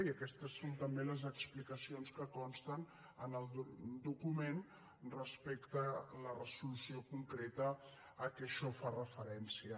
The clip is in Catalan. i aquestes són també les explicacions que consten en el document respecte a la resolució concreta a què això fa referència